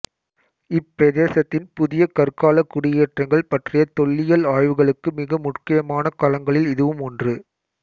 இப் பிரதேசத்தின் புதிய கற்காலக் குடியேற்றங்கள் பற்றிய தொல்லியல் ஆய்வுகளுக்கு மிக முக்கியமான களங்களில் இதுவும் ஒன்று